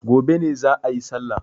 Gobe ne za'a yi sallah.